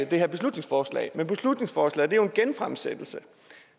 det her beslutningsforslag men beslutningsforslaget er jo en genfremsættelse